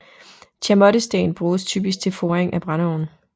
Chamottesten bruges typisk til foring af brændeovne